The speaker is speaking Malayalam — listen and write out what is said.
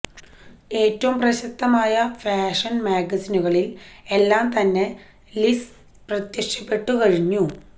ഏറ്റവും പ്രശസ്തമായ ഫാഷൻ മാഗസിനുകളിൽ എല്ലാം തന്നെ ലിസ് പ്രത്യക്ഷപ്പെട്ടു കഴിഞ്ഞു